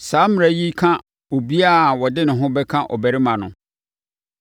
“ ‘Saa mmara yi ka obiara a ɔde ne ho bɛka ɔbarima no.